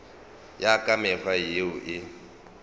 ya ka mekgwa yeo e